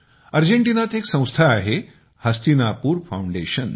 अर्जेंटिनात एक संस्था आहे हस्तिनापुर फाउंडेशन